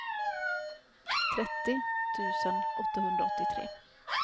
trettio tusen åttahundraåttiotre